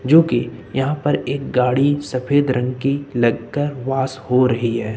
जो कि यहां पर एक गाड़ी सफेद रंग की लग कर वॉश हो रही हैं।